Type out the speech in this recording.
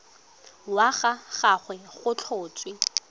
wa ga gagwe go tlhotswe